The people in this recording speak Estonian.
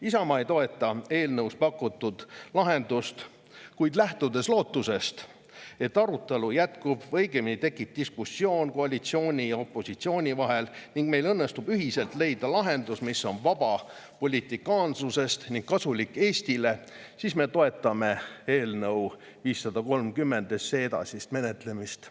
Isamaa ei toeta eelnõus pakutud lahendust, kuid lähtudes lootusest, et arutelu jätkub, õigemini tekib diskussioon koalitsiooni ja opositsiooni vahel ning meil õnnestub ühiselt leida lahendus, mis on vaba politikaanlusest ning kasulik Eestile, me toetame eelnõu 530 edasist menetlemist.